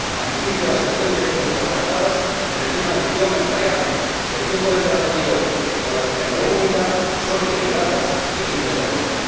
A mi juicio, las soluciones de compromiso alcanzadas en el tema del idioma empleado, el tiempo de entrada en vigor o la ventanilla única son equilibradas y dignas de apoyo.